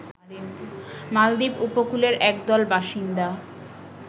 মালদ্বীপ উপকূলের একদল বাসিন্দা